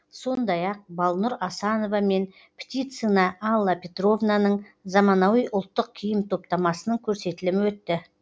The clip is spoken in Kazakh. сондай ақ балнур асанова мен птицина алла петровнаның заманауи ұлттық киім топтамасының көрсетілімі өтті